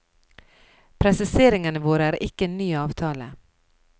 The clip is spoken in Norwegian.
Presiseringene våre er ikke en ny avtale.